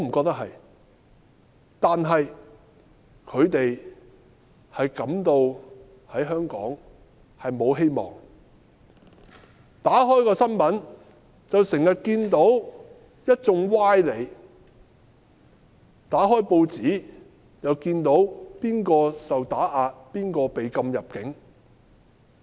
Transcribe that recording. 但是他們感到在香港沒有希望，打開電視看新聞報道，經常看到一眾歪理，打開報紙又見到誰受打壓，誰被禁入境。